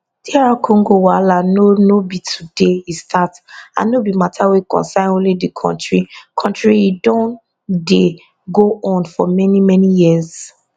dr congo wahala no no be today e start and no be mata wey concern only di kontri kontri e don dey go on for many many years